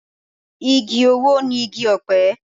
Igi owó ni igi ọ̀pẹ.